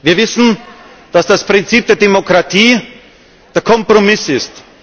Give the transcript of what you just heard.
Wir wissen, dass das Prinzip der Demokratie der Kompromiss ist.